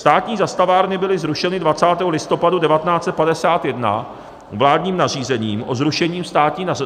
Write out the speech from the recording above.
Státní zastavárny byly zrušeny 20. listopadu 1951 vládním nařízením o zrušení